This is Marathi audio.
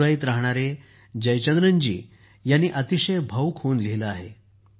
मदुराईत राहणाऱ्या जयचंद्रन जी ह्यांनी अतिशय भावूक होऊन लिहिले आहे